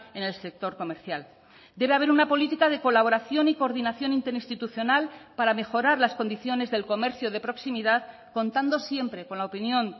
en el sector comercial debe haber una política de colaboración y coordinación interinstitucional para mejorar las condiciones del comercio de proximidad contando siempre con la opinión